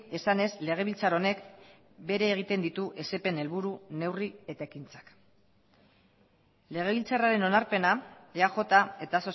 esanez legebiltzar honek bere egiten ditu esepen helburu neurri eta ekintzak legebiltzarraren onarpena eaj eta